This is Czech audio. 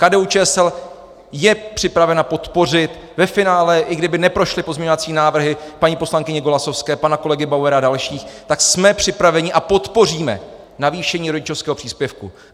KDU-ČSL je připravena podpořit ve finále, i kdyby neprošly pozměňovací návrhy paní poslankyně Golasowské, pana kolegy Bauera a dalších, tak jsme připraveni a podpoříme navýšení rodičovského příspěvku.